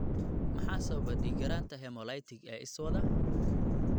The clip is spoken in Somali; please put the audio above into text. Maxaa sababa dhiig-yaraanta hemolytic ee iswada?